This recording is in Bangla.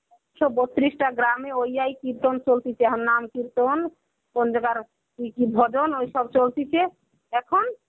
একশ বত্রিশটা গ্রামে ওই আই কৃতন চলতেছে. এখন নাম কৃতন কোন জায়গার ভজন ঐসব চলতিছে এখন.